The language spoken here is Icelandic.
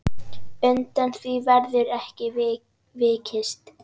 Undan því verður ekki vikist.